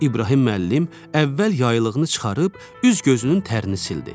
İbrahim müəllim əvvəl yaylığını çıxarıb, üz-gözünün tərini sildi.